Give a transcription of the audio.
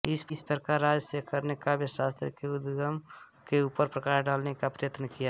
इस प्रकार राजशेखर ने काव्यशास्त्र के उद्गम के ऊपर प्रकाश डालने का प्रयत्न किया